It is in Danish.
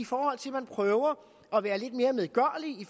fordi man prøver at være lidt mere medgørlig